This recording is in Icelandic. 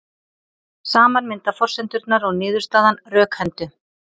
Saman mynda forsendurnar og niðurstaðan rökhendu.